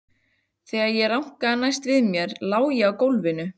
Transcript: Þegar ég rankaði næst við mér lá ég á gólfinu.